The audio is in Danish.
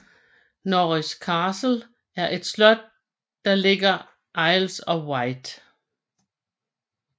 Norris Castle er et slot der ligger Isle of Wight